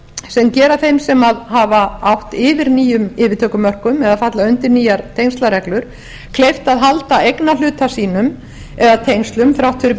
sem gera þeim sem hafa átt yfir nýjum yfirtökureglum eða falla undir nýjar tengslareglur kleift að halda eignarhluta sínum eða tengslum þrátt fyrir